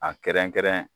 A kɛrɛnkɛrɛn